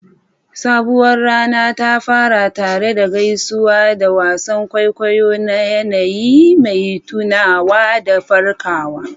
Sabuwar rana ta fara tare da gaisuwa da wasan kwaikwayo na yanayi mai tunawa da farkawa.